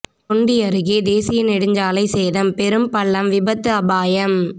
தொண்டி அருகே தேசிய நெடுஞ்சாலை சேதம் பெரும் பள்ளம் விபத்து அபாயம்